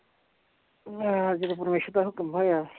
ਹਾਂ ਜਦੋਂ ਪਰਮੇਸ਼ਰ ਦਾ ਹੁਕਮ ਹੋਇਆ